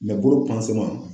bolo